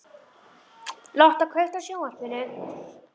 Lotta, kveiktu á sjónvarpinu.